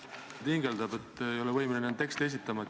Ettekandja hingeldab, ei ole võimeline teksti esitama.